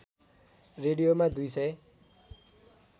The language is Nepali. रेडियोमा दुई सय